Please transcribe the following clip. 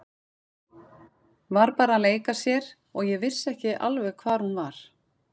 Var bara að leika sér og ég vissi ekki alveg hvar hún var.